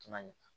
Kuma ɲɛ